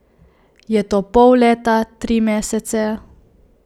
Je to pol leta, tri mesece?